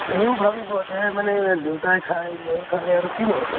সিও ভাবিব যে মানে দেউতাই খায়, ময়ো খালে আৰু কিনো হʼব?